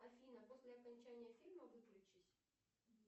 афина после окончания фильма выключись